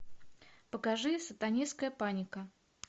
покажи сатанинская паника